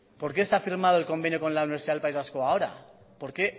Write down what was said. por qué se ha firmado el convenio con la universidad del país vasco ahora por qué